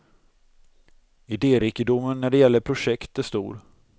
Idérikedomen när det gäller projekt är stor.